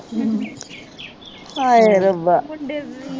ਹਾਏ ਰੱਬਾ